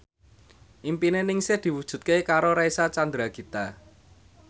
impine Ningsih diwujudke karo Reysa Chandragitta